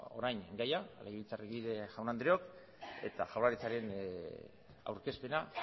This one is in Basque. orain gaia legebiltzarkide jaun andreok eta jaurlaritzaren aurkezpena